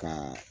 Ka